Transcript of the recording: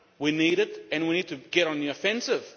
We need it and we need to get on the offensive.